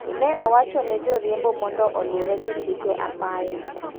Ne owacho ne jo riembo mondo olure gi chike apaya.